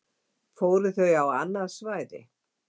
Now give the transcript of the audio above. Fóru þau á annað svæði?